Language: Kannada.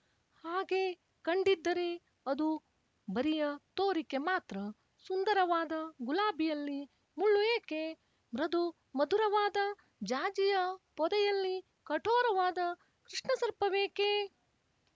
ಹಾಗೆ ಕಂಡಿದ್ದರೆ ಅದು ಬರಿಯ ತೋರಿಕೆ ಮಾತ್ರ ಸುಂದರವಾದ ಗುಲಾಬಿಯಲ್ಲಿ ಮುಳ್ಳು ಏಕೆ ಮೃದು ಮಧುರವಾದ ಜಾಜಿಯ ಪೊದೆಯಲ್ಲಿ ಕಠೋರವಾದ ಕೃಷ್ಣಸರ್ಪವೇಕೆ